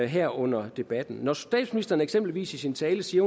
her under debatten når statsministeren eksempelvis i sin tale siger